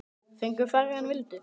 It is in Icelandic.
Fengu færri en vildu.